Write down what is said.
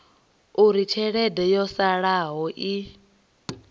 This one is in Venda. uri tshelede yo salelaho i